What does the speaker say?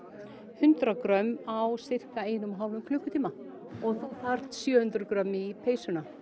hundrað grömm á sirka einum og hálfum klukkutíma og þú þarft sjö hundruð grömm í peysuna